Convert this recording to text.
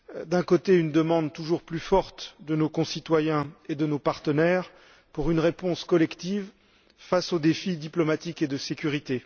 D'un côté, une demande toujours plus forte de nos concitoyens et de nos partenaires pour une réponse collective face aux défis diplomatiques et de sécurité.